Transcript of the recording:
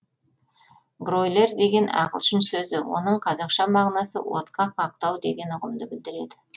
бройлер деген ағылшын сөзі оның қазақша мағынасы отқа қақтау деген ұғымды білдіреді